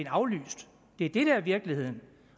aflyst det er det der er virkeligheden